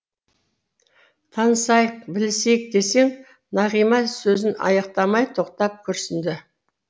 танысайық білісейік десең нағима сөзін аяқтамай тоқтап күрсінді